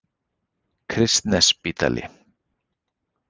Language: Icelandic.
Kristnesspítala